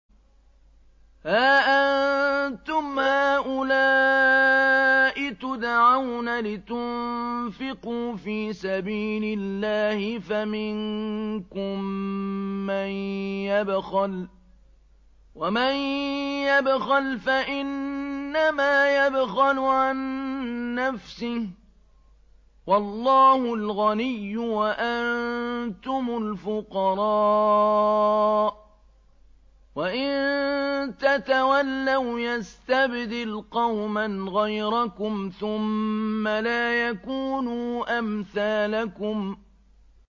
هَا أَنتُمْ هَٰؤُلَاءِ تُدْعَوْنَ لِتُنفِقُوا فِي سَبِيلِ اللَّهِ فَمِنكُم مَّن يَبْخَلُ ۖ وَمَن يَبْخَلْ فَإِنَّمَا يَبْخَلُ عَن نَّفْسِهِ ۚ وَاللَّهُ الْغَنِيُّ وَأَنتُمُ الْفُقَرَاءُ ۚ وَإِن تَتَوَلَّوْا يَسْتَبْدِلْ قَوْمًا غَيْرَكُمْ ثُمَّ لَا يَكُونُوا أَمْثَالَكُم